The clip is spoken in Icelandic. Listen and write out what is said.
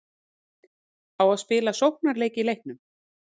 Á að spila sóknarleik í leiknum?